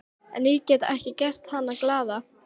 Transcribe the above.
En ég get ekki gert hana glaða.